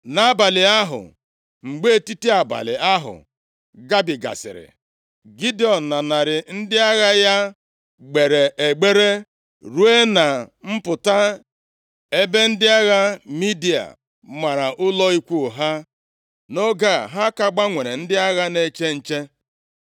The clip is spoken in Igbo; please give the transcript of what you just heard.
Nʼabalị ahụ, mgbe etiti abalị ahụ gabigasịrị, Gidiọn na narị ndị agha ya gbeere egbere ruo na mpụta ebe ndị agha Midia mara ụlọ ikwu ha. Nʼoge a, ha ka gbanwere ndị agha na-eche nche.